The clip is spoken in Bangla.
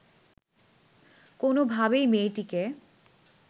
কোনোভাবেই মেয়েটিকে